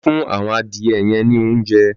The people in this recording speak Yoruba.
Lọ fùn awọn adiẹ yẹ̀n ni óunjẹ̀